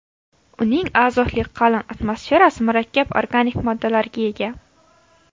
Uning azotli qalin atmosferasi murakkab organik moddalarga ega.